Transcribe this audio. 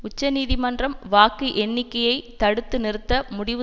உச்சநீதிமன்றம் வாக்கு எண்ணிக்கையை தடுத்து நிறுத்த முடிவு